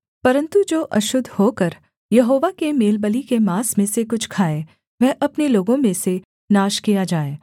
परन्तु जो अशुद्ध होकर यहोवा के मेलबलि के माँस में से कुछ खाए वह अपने लोगों में से नाश किया जाए